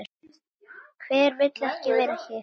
Hver vill ekki vera hér?